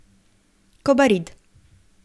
Kobarid.